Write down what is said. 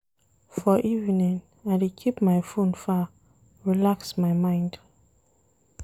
For evening, I dey keep my fone far relax my mind.